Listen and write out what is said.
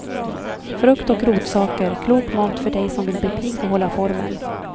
Frukt och rotsaker, klok mat för dig som vill bli pigg och hålla formen.